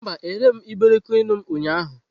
Mba, ereghị m iberikoinu m ụnyaahụ.